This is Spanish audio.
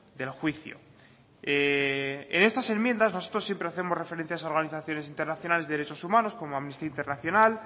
del juicio en estas enmiendas nosotros siempre hacemos referencia a organizaciones internacionales de derechos humanos como amnistía internacional